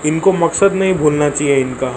इनको मकसद नहीं भूलना चाहिए इनका।